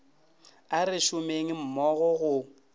a re šomeng mmogo go